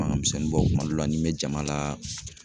Makan misɛnnin bɔ kuma dɔ la ni n bɛ jama la